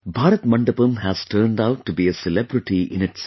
Bharat Mandapam has turned out tobe a celebrity in itself